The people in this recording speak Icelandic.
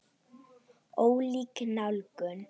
Ólík nálgun.